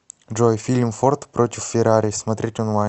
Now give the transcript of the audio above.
джой фильм форт против феррари смотреть онлайн